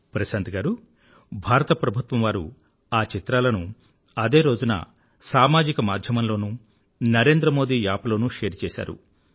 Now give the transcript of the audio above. ప్రశాంత్ గారూ భారత ప్రభుత్వం వారు ఆ చిత్రాలను అదే రోజున సామాజిక మాధ్యమం లోనూ నరేంద్ర మోదీ యాప్ లోనూ షేర్ చేసారు